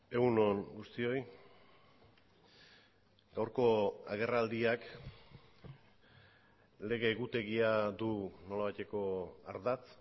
egun on guztioi gaurko agerraldiak lege egutegia du nolabaiteko ardatz